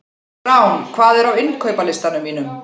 Rán, hvað er á innkaupalistanum mínum?